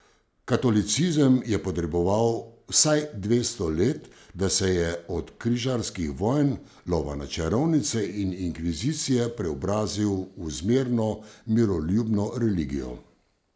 Katolicizem je potreboval vsaj dvesto let, da se je od križarskih vojn, lova na čarovnice in inkvizicije preobrazil v zmerno, miroljubno religijo.